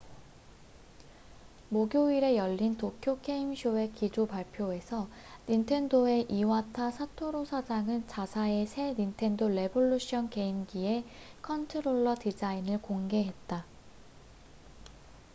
목요일에 열린 도쿄 게임쇼의 기조 발표에서 닌텐도의 이와타 사토루 사장은 자사의 새 닌텐도 레볼루션 게임기의 컨트롤러 디자인을 공개했다